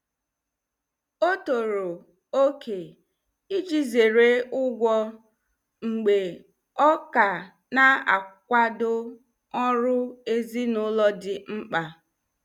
Ọ tọrọ oke iji zere ụgwọ mgbe ọ ka na-akwado ọrụ ezinụlọ dị mkpa.